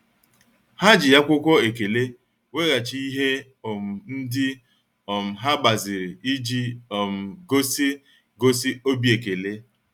Ha ji akwụkwọ ekele weghachi ihe um ndị um ha gbaziri iji um gosi gosi obi ekele.